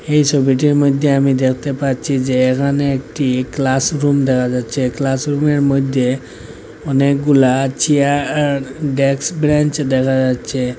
এই ছবিটির মধ্যে আমি দেখতে পাচ্ছি যে এখানে একটি ক্লাস রুম দেখা যাচ্ছে ক্লাস রুমের মধ্যে অনেকগুলা চিয়াআর ডেক্স ব্রেঞ্চ দেখা যাচ্ছে।